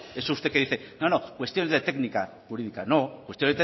eso que usted dice cuestiones de técnica jurídica no cuestión de técnica